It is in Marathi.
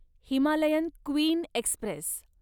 Himalayan queen Express